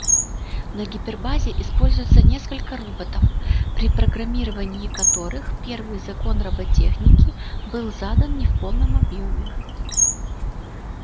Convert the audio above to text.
на гипербазе используется несколько роботов при программировании которых первый закон роботехники был задан не в полном объёме